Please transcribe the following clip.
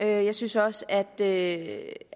jeg synes også at det